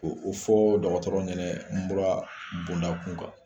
U fɔ dɔgɔtɔrɔ ɲɛna mura bondakun kan